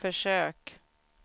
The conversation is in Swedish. försök